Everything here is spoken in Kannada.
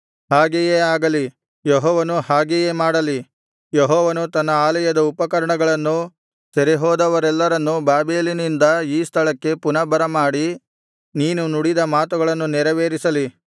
ಹಾಗೆಯೇ ಆಗಲಿ ಯೆಹೋವನು ಹಾಗೆಯೇ ಮಾಡಲಿ ಯೆಹೋವನು ತನ್ನ ಆಲಯದ ಉಪಕರಣಗಳನ್ನೂ ಸೆರೆಹೋದವರೆಲ್ಲರನ್ನೂ ಬಾಬೆಲಿನಿಂದ ಈ ಸ್ಥಳಕ್ಕೆ ಪುನಃ ಬರಮಾಡಿ ನೀನು ನುಡಿದ ಮಾತುಗಳನ್ನು ನೆರವೇರಿಸಲಿ